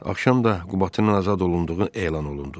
Axşam da Qubatlının azad olunduğu elan olundu.